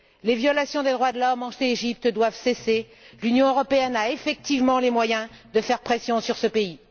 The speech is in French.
Les violations des droits de l'homme en Égypte doivent cesser, l'Union européenne a effectivement les moyens de faire pression sur ce pays.